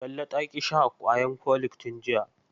Talle ta ƙi sha ƙwayan folik tun jiya.